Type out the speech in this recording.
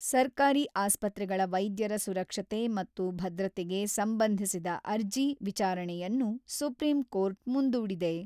ಸರ್ಕಾರಿ ಆಸ್ಪತ್ರೆಗಳ ವೈದ್ಯರ ಸುರಕ್ಷತೆ ಮತ್ತು ಭದ್ರತೆಗೆ ಸಂಬಂಧಿಸಿದ ಅರ್ಜಿ ವಿಚಾರಣೆಯನ್ನು ಸುಪ್ರೀಂ ಕೋರ್ಟ್ ಮುಂದೂಡಿದೆ.